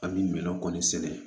An bɛ mɛlɛ kɔni sɛnɛ